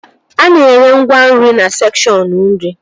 A na-ere ngwa nri na sekshọn nri